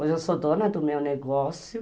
Hoje eu sou dona do meu negócio,